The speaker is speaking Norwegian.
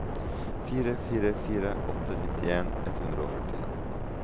fire fire fire åtte nittien ett hundre og førtien